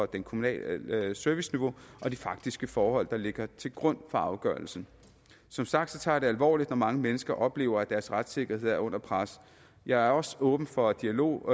det kommunale serviceniveau og de faktiske forhold der ligger til grund for afgørelsen som sagt tager jeg det alvorligt når mange mennesker oplever at deres retssikkerhed er under pres jeg er også åben for dialog